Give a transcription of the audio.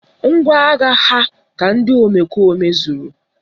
Ngwaagha ha ka ndị omekome zuru